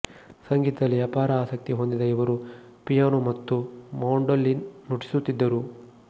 ಸಂಗೀತದಲ್ಲಿ ಅಪಾರ ಆಸಕ್ತಿ ಹೊಂದಿದ ಇವರು ಪಿಯಾನೋ ಮತ್ತು ಮಾಂಡೊಲಿನ್ ನುಡಿಸುತಿದ್ದರು